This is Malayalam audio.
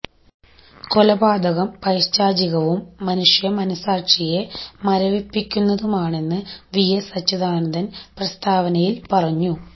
കൊലപാതകം പൈശാചികവും മനുഷ്യ മനഃസാക്ഷിയെ മരവിപ്പിക്കുന്നതുമാണെന്ന് വിഎസ് അച്യുതാനന്ദന് പ്രസ്താവനയില് പറഞ്ഞു